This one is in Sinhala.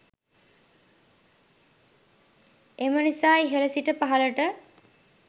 එම නිසා ඉහල සිට පහලට